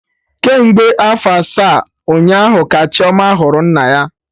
Kemgbe afọ asaa, ụnyaahụ ka Chioma hụrụ nna ya